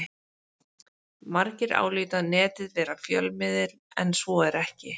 Margir álíta Netið vera fjölmiðil en svo er ekki.